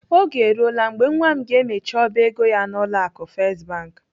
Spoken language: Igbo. Oge eruola mgbe nwa m ga-emechi ọba ego ya n'ụlọ akụ First Bank.